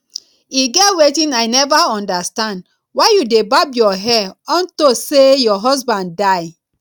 e get wetin i never understand why you dey barb your hair unto say your husband die